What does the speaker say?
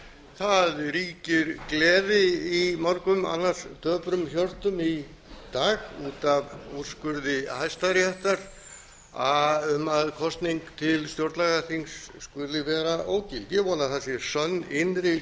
það ríkir gleði í mörgum annars döprum hjörtum í dag út af úrskurði hæstaréttar um að kosning til stjórnlagaþings skuli vera ógild ég vona að það sé sönn innri